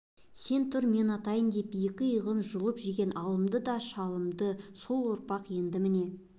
сен тұр мен атайын деп екі иығын жұлып жеген алымды да шалымды сол ұрпақ енді міне